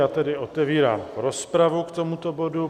Já tedy otevírám rozpravu k tomuto bodu.